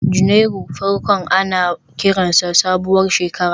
Janairu farkon ana kiransa sabuwar shekara